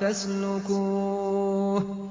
فَاسْلُكُوهُ